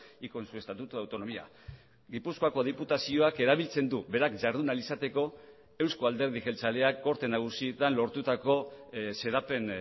y con su estatuto de autonomía gipuzkoako diputazioak erabiltzen du berak jardun ahal izateko eusko alderdi jeltzaleak gorte nagusietan lortutako xedapen